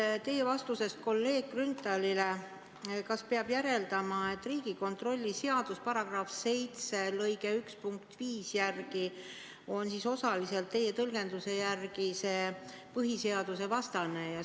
Kas teie vastusest kolleeg Grünthalile peab järeldama, et Riigikontrolli seaduse § 7 lõige 1 punkt 5 on siis osaliselt teie tõlgenduse järgi põhiseadusvastane?